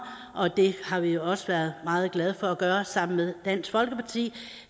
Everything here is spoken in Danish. og det har vi også været meget glade for gøre sammen med dansk folkeparti